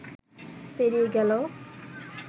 পেরিয়ে গেল